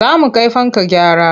Za mu kai fanka gyara.